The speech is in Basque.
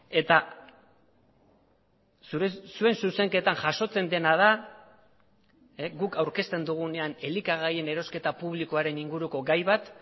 eta zuen zuzenketan jasotzen dena da guk aurkezten dugunean elikagaien erosketa publikoaren inguruko gai bat